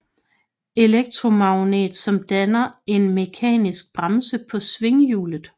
Elektromagnet som danner en mekanisk bremse på svinghjulet